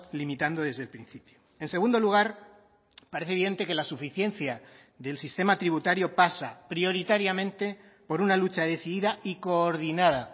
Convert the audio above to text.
limitando desde el principio en segundo lugar parece evidente que la suficiencia del sistema tributario pasa prioritariamente por una lucha decidida y coordinada